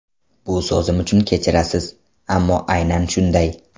Bu so‘zim uchun kechirasiz, ammo aynan shunday.